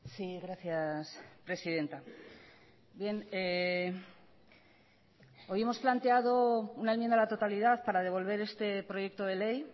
sí gracias presidenta bien hoy hemos planteado una enmienda a la totalidad para devolver este proyecto de ley